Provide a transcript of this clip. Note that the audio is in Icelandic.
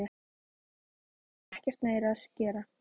Hér hef ég ekkert meira að gera.